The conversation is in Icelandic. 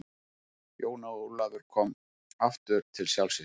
Jón Ólafur kom aftur til sjálfs sín.